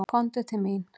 Komdu til mín.